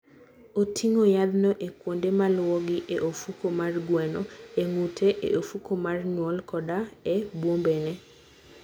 Oting'o yadhno e kuonde maluwogi e ofuko mar gweno, e ng'ute, e ofuko mar nyuol, koda e bwombene.